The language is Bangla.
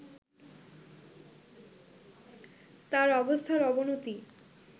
তার অবস্থার অবনতি